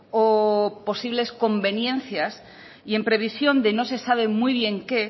o posibles conveniencias y en previsión de no se sabe muy bien qué